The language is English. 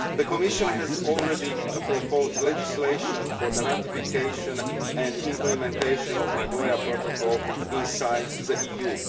The Commission has already proposed legislation for the ratification and implementation of the Nagoya Protocol in the EU.